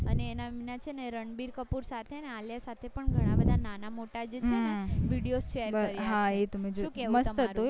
અને એના છે ને રણબીર કપૂર સાથે આલિયા સાથે પણ ઘણા બધા નાના મોટા જે video share કર્યા શું કેવું તમારું